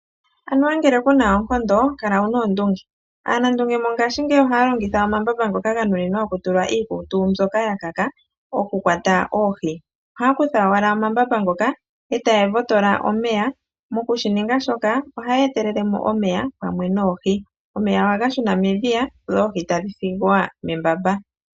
Anuwa ngele ku na oonkondo, kala wu na oondunge. Aanandunge mongaashingeyi ohaa longitha omambamba ngoka goku tula iikutu mbyoka ya kaka ,oku kwata oohi. Ohaa kutha owala omambamba ngoka etaa votola omeya, mokushininga shoka ohaa etelelemo omeya pamwe noohi. Omeya oha ga shuna medhiya dho oohi tadhi thigwa membamba.